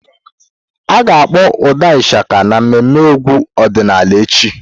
A ga-akpọ ụda Ishaka n'ememme egwu ọdịnala echi.